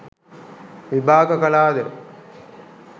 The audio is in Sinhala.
විභාග කළාද?